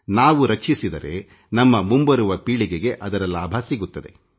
ನಾವು ರಕ್ಷಿಸಿದರೆ ನಮ್ಮ ಮುಂಬರುವ ಪೀಳಿಗೆಗೆ ಅದರ ಲಾಭ ಸಿಗುತ್ತದೆ